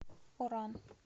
оран